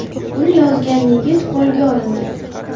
Uni yozgan yigit qo‘lga olindi.